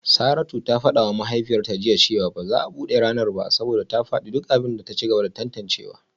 Saratu ta fada wa mahaifiyarta jiya cewa ba za a bude ranar ba saboda ta fadi duk abin da ta ci gaba da tantancewa